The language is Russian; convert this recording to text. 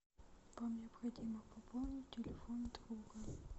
вам необходимо пополнить телефон друга